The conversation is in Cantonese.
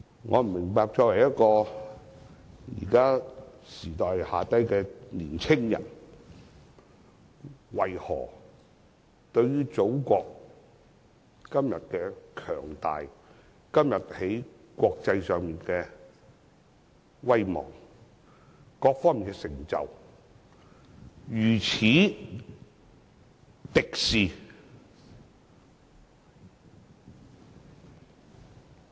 我不明白作為一名時下年青人，為何對於祖國今天的強大，今天在國際上的威望，各方面的成就，如此敵視？